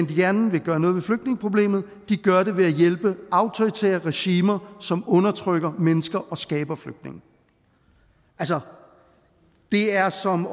gerne vil gøre noget ved flygtningeproblemet gør det ved at hjælpe autoritære regimer som undertrykker mennesker og skaber flygtninge altså det er som at